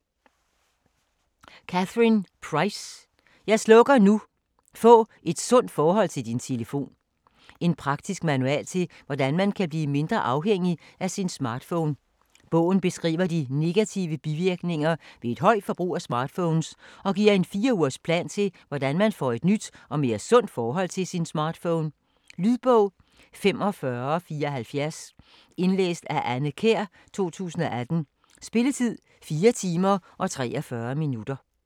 Price, Catherine: Jeg slukker nu!: få et sundt forhold til din telefon En praktisk manual til hvordan man kan blive mindre afhængig af sin smartphone. Bogen beskriver de negative bivirkninger ved et højt forbrug af smartphones, og giver en fire-ugers plan til hvordan man får et nyt og mere sundt forhold til sin smartphone. Lydbog 45470 Indlæst af Anne Kjær, 2018. Spilletid: 4 timer, 43 minutter.